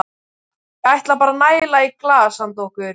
Ég ætla bara að næla í glas handa okkur.